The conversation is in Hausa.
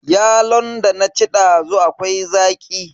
Yalon da na ci dazu akwai zaƙi.